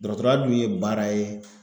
Dɔrɔtɔrɔya dun ye baara ye